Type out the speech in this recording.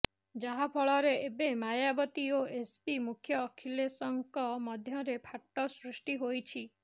ଯାହାଫଳରେ ଏବେ ମାୟାବତୀ ଓ ଏସପି ମୁଖ୍ୟ ଅଖିଲେଶଙ୍କ ମଧ୍ୟରେ ଫାଟ ସୃଷ୍ଟି ହୋଇଛିା